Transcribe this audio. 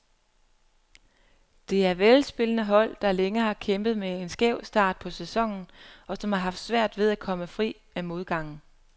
Det er velspillende hold, der længe har kæmpet med en skæv start på sæsonen, og som har haft svært ved at komme fri af modgangen.